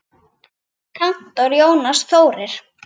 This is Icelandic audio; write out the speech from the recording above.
Kantor Jónas Þórir.